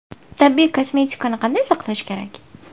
Tabiiy kosmetikani qanday saqlash kerak?